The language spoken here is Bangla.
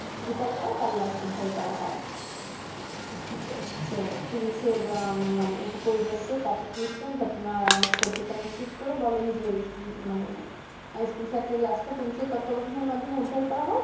বিকাল বেলা তার লাশ উদ্ধার করা হয় তো হচ্ছে police এর মানে উপপরিদর্শক আতিকুল ইসলাম ঘটনার সত্যতা নিশ্চিত করে বলেন যে মানে school ছাত্রীর লাশ টা police এর তত্বাবধনায় মাধ্যমে উদ্ধার করা হয়